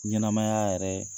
Ɲɛnamaya yɛrɛ